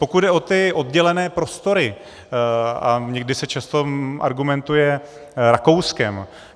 Pokud jde o ty oddělené prostory, a někdy se často argumentuje Rakouskem.